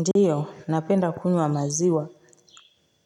Ndiyo, napenda kunywa maziwa.